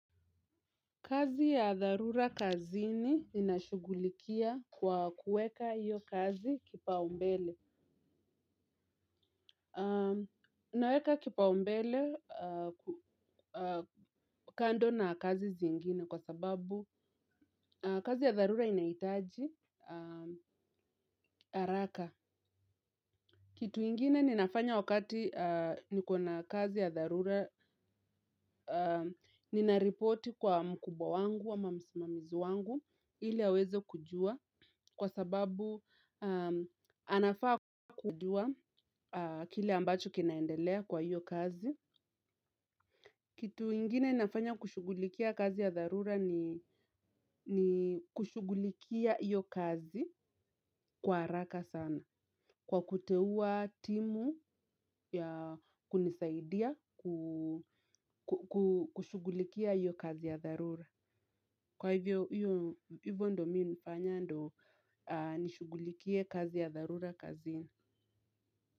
Kazi ya dharura kazini ninashughulikia kwa kuweka hiyo kazi kipaumbele. Naweka kipaumbele kando na kazi zingine kwa sababu kazi ya dharura inaihtaji haraka. Kitu kingine ninafanya wakati nikona kazi ya dharura, ninaripoti kwa mkubwa wangu ama msimamizi wangu ili aweze kujua kwa sababu anafaa kujua kile ambacho kinaendelea kwa hiyo kazi. Kitu kingine nafanya kushughulikia kazi ya dharura ni kushughulikia hiyo kazi kwa haraka sana. Kwa kuteuwa timu ya kunisaidia kushughulikia hiyo kazi ya dharura. Kwa hivyo, hivyo ndio mimi nafanya ndio nishughulikie kazi ya dharura kazini.